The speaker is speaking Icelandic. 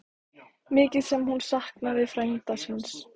Mikið sem hún saknaði frænda síns.